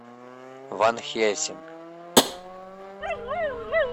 ван хельсинг